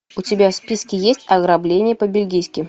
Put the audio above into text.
у тебя в списке есть ограбление по бельгийски